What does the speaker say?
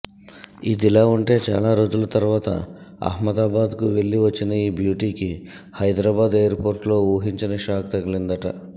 ఇదిలా ఉంటే చాలా రోజుల తర్వాత ఆహ్మదాబాద్కు వెళ్లి వచ్చిన ఈ బ్యూటీకి హైదరాబాద్ ఎయిర్పోర్ట్లో ఊహించని షాక్ తగిలిందట